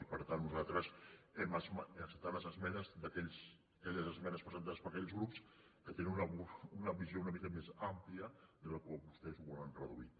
i per tant nosaltres hem acceptat aquelles esmenes presentades per aquells grups que tenen una visió una mica més àmplia que a la que vostès ho volen reduir